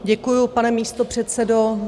Děkuji, pane místopředsedo.